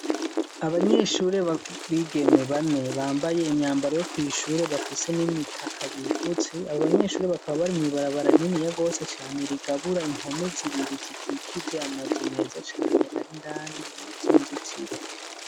Abanyeshure ba bigeme bane bambaye imyambaro yo kw’ishure bafise n'imitaka bifutse ,abo banyeshure bakaba bari mw’ibarabara rininiya gose cane rigabura impome zibiri zikikije amazu meza cane ar’indani mw’izo zintiro.